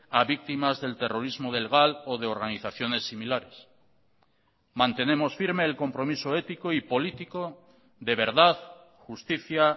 a víctimas del terrorismo del gal o de organizaciones similares mantenemos firme el compromiso ético y político de verdad justicia